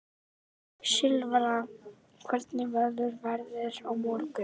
Silfra, hvernig verður veðrið á morgun?